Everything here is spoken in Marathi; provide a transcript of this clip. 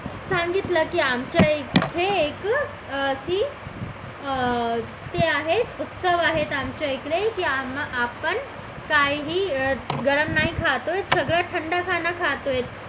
सांगितलं की आमच्या याच्यात हे एक अं अशी ते आहे उत्सव आहेत आमच्याकडे ते आपण काहीही गरम नाही खात आहोत थंड खात आहो